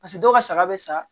Paseke dɔw ka saga bɛ sa